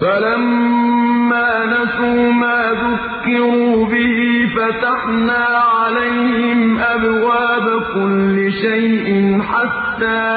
فَلَمَّا نَسُوا مَا ذُكِّرُوا بِهِ فَتَحْنَا عَلَيْهِمْ أَبْوَابَ كُلِّ شَيْءٍ حَتَّىٰ